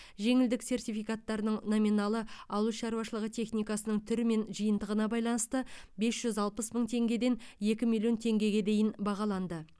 жеңілдік сертификаттарының номиналы ауыл шаруашылығы техникасының түрі мен жиынтығына байланысты бес жүз алпыс мың теңгеден екі миллион теңгеге дейін бағаланды